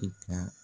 I ka